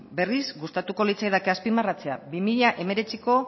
berriz gustatuko litzaidake azpimarratzea bi mila hemeretziko